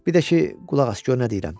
Bir də ki, qulaq as gör nə deyirəm.